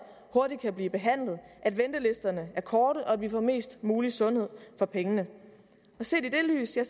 hurtigt kan blive behandlet at ventelisterne er korte og at vi får mest mulig sundhed for pengene set i det lys er